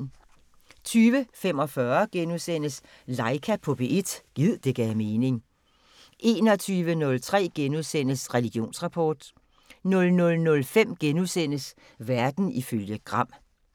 20:45: Laika på P1 – gid det gav mening * 21:03: Religionsrapport * 00:05: Verden ifølge Gram *